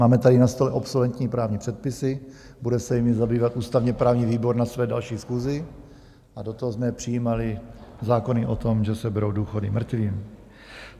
Máme tady na stole obsoletní právní předpisy, bude se jimi zabývat ústavně-právní výbor na své další schůzi, a do toho jsme přijímali zákony o tom, že se berou důchody mrtvým.